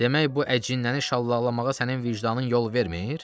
Demək bu əcinnəni şallaqlamağa sənin vicdanın yol vermir?